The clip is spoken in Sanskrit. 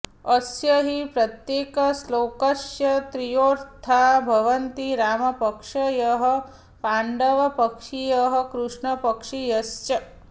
अस्य हि प्रत्येकश्लोकस्य त्रयोऽर्था भवन्ति रामपक्षीयः पाण्डवपक्षीयः कृष्णपक्षीयश्च